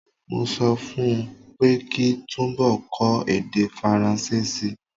Mo sọ fún ọ pé kí túnbọ̀ kọ́ èdè Faransé si.